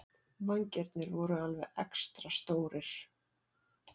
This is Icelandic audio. Vængirnir voru alveg extra stórir.